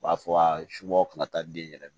U b'a fɔ a subagaw kun ka taa den yɛrɛ